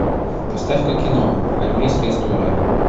поставь ка кино армейская история